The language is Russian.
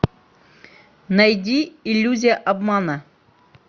найди иллюзия обмана